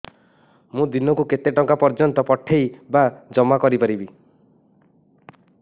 ମୁ ଦିନକୁ କେତେ ଟଙ୍କା ପର୍ଯ୍ୟନ୍ତ ପଠେଇ ବା ଜମା କରି ପାରିବି